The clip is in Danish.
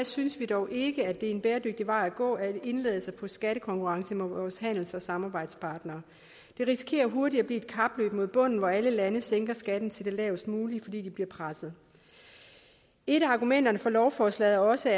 synes vi dog ikke at det er en bæredygtig vej at gå at indlade sig på skattekonkurrence med vores handels og samarbejdspartnere det risikerer hurtigt at blive et kapløb mod bunden hvor alle lande sænker skatten til det lavest mulige fordi de bliver presset et af argumenterne for lovforslaget er også